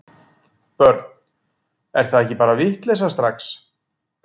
Börn: er það ekki bara vitleysa strax?